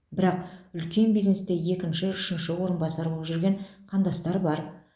бірақ үлкен бизнесте екінші үшінші орынбасар боп жүрген қандастар бар